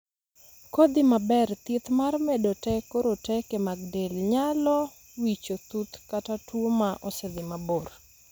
Kodhii maber, thieth mar medo teko roteke mag del nyalo wicho chuth kata tuo ma osedhii mabor.